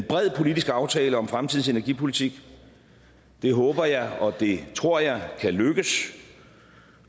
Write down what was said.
bred politisk aftale om fremtidens energipolitik det håber jeg og det tror jeg kan lykkes